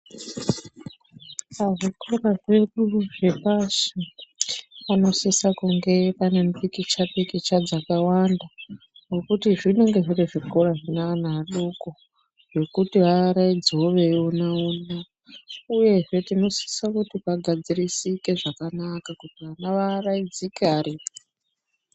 Pazvikora zvedu zvepashi, panosise kunge pane mipikicha-pikicha dzakawanda ,ngekuti zvinenge zviri zvikora zvine ana adoko, zvekuti vaaraidzewo veiona-ona uyezve ,tinosise kuti pagadzirisike zvakanaka vana vaaraidzike variyo.